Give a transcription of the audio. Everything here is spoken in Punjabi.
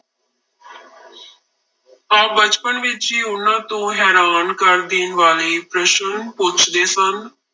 ਆਪ ਬਚਪਨ ਵਿੱਚ ਹੀ ਉਹਨਾਂ ਤੋਂ ਹੈਰਾਨ ਕਰ ਦੇਣ ਵਾਲੇ ਪ੍ਰਸ਼ਨ ਪੁੱਛਦੇ ਸਨ।